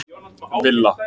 Villa